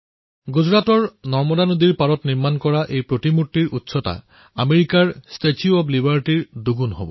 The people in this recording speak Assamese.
গুজৰাটত নৰ্মদা নদীৰ তীৰত স্থাপিত এই প্ৰতিমাৰ উচ্চতা আমেৰিকাৰ ষ্টেচু অব্ লিবাৰ্টীতকৈও দুগুণ